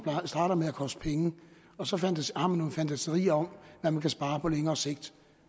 starter med at koste penge og så har man nogle fantasier om at man kan spare på længere sigt